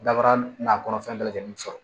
Dabara nakɔ fɛn bɛɛ lajɛlen sɔrɔ